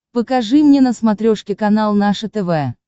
покажи мне на смотрешке канал наше тв